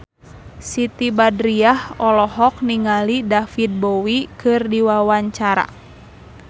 Siti Badriah olohok ningali David Bowie keur diwawancara